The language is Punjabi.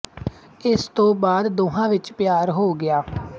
ਇਸ ਤੋਂ ਬਾਅਦ ਦੋਹਾਂ ਵਿੱਚ ਪਿਆਰ ਹੋ ਗਿਆ